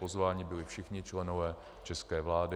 Pozváni byli všichni členové české vlády.